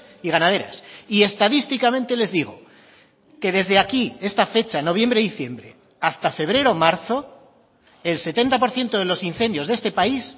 y ganaderas y estadísticamente les digo que desde aquí esta fecha noviembre diciembre hasta febrero marzo el setenta por ciento de los incendios de este país